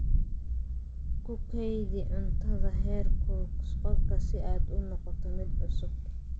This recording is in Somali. Ku kaydi cuntada heerkulka qolka si aad u noqoto mid cusub.